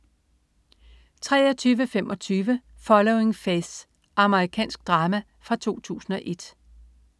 23.25 Following Faith. Amerikansk drama fra 2001